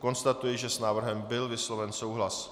Konstatuji, že s návrhem byl vysloven souhlas.